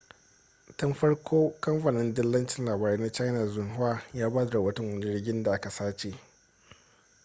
tun farko kamfanin dillacin labarai na china xinhua ya ba da rahoton wani jirgin da aka sace